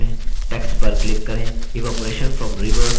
evaporation from rivers and seas